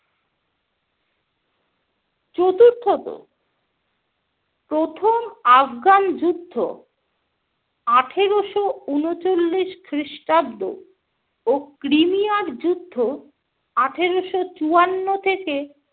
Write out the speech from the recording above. চতুর্থত - প্রথম আফগান যুদ্ধ আঠেরোশো ঊনচল্লিশ খ্রিস্টাব্দ ও ক্রিমিয়ার যুদ্ধ আঠেরোশো চুয়ান্ন থেকে